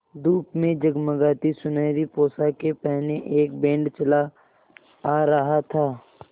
धूप में जगमगाती सुनहरी पोशाकें पहने एक बैंड चला आ रहा था